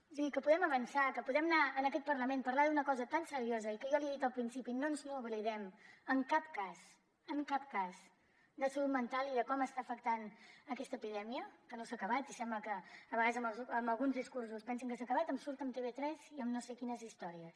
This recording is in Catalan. o sigui que podem avançar que podem anar en aquest parlament parlar d’una cosa tan seriosa i que jo l’hi he dit al principi no ens n’oblidem en cap cas en cap cas de salut mental i de com està afectant aquesta epidèmia que no s’ha acabat i sembla que a vegades amb alguns discursos pensin que s’ha acabat em surt amb tv3 i amb no sé quines històries